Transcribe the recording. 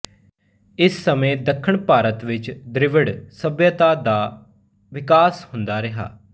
ਇਸ ਸਮੇਂ ਦੱਖਣ ਭਾਰਤ ਵਿੱਚ ਦ੍ਰਵਿੜ ਸੱਭਿਅਤਾ ਦਾ ਵਿਕਾਸ ਹੁੰਦਾ ਰਿਹਾ